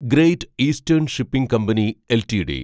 great eastern shipping company LTD